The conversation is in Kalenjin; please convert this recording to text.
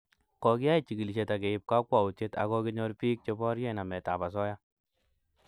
Kokoiyai chigilishet ak keib kakwautiet ak kokinyor piik che borie namet ab asoya